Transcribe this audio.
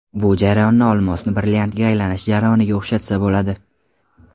Bu jarayonni olmosni brilliantga aylanish jarayoniga o‘xshatsa bo‘ladi.